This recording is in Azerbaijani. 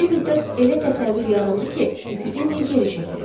Bir müddət elə təsəvvür yarandı ki, epidemiya geri çəkilir.